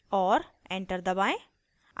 और enter दबाएं